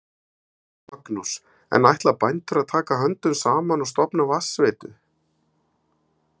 Magnús: En ætla bændur að taka höndum saman og stofna vatnsveitu?